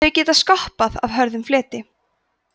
þau geta skoppað af hörðum fleti